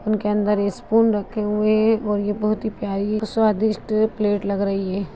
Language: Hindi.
उनके अंदर स्पून रखे हुए है और ये बहुत ही प्यारी स्वादिस्ट प्लेट लग रही है।